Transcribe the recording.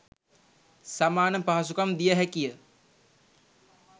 සමාන පහසුකම් දිය හැකිය.